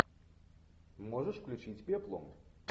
можешь включить пеплум